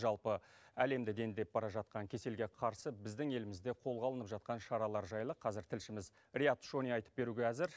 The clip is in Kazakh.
жалпы әлемді дендеп бара жатқан кеселге қарсы біздің елімізде қолға алынып жатқан шаралар жайлы қазір тілшіміз риат шони айтып беруге әзір